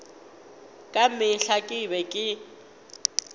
ka mehla ke be ke